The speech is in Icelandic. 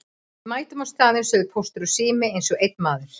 Við mætum á staðinn sögðu Póstur og Sími eins og einn maður.